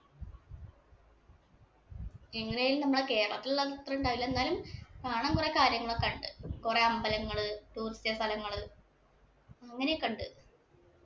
എങ്ങനേലും നമ്മുടെ കേരളത്തിന്‍റെ അത്ര ഉണ്ടാവൂല. എന്നാലും കാണാന്‍ കൊറേ കാര്യങ്ങള് ഒക്കെ ഉണ്ട്. കുറെ അമ്പലങ്ങള്, tourist സ്ഥലങ്ങള്, അങ്ങനെ ഒക്കെ ഉണ്ട്.